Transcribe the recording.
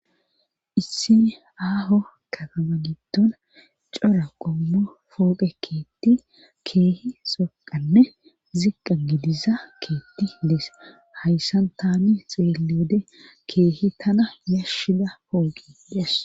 issini aaho katama gitton cora qommo pooqe keetti keehi soqanne ziqqa gidiza keetti dees hayssan tani xeelle wode keehi tana yashida pooqe des